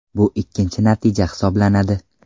Bu ikkinchi natija hisoblanadi.